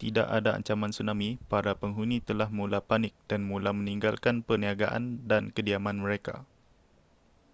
tidak ada ancaman tsunami para penghuni telah mula panik dan mula meninggalkan perniagaan dan kediaman mereka